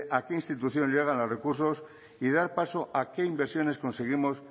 a qué institución llegan los recursos y dar paso a qué inversiones conseguimos